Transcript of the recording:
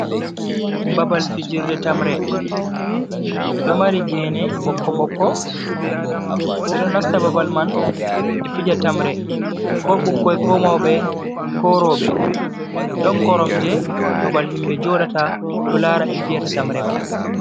Babal fijirde tamre ɗo mari gene ɓokko ɓokko. Ɓe ɗo nasta babal man be fija tamre, ko ɓikkon ko maube ko robe. Ɗon koromje babal himbe jodata ɗo lara ɓe fiyata tamre mai.